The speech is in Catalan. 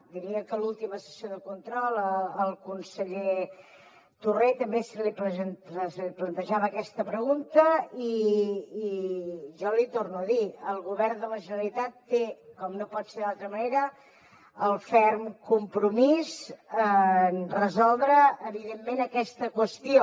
diria que a l’última sessió de control al conseller torrent també se li plantejava aquesta pregunta i jo l’hi torno a dir el govern de la generalitat té com no pot ser d’altra manera el ferm compromís de resoldre evidentment aquesta qüestió